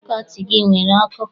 Fakọlti gị enwere ọkụ?